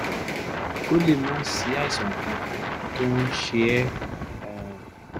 ó lè má sí àìsàn kankan tó ń ṣe ẹ́ um